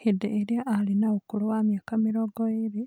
Hĩndĩ ĩrĩa arĩ na ũkũrũ wa mĩaka mĩrongo ĩrĩ,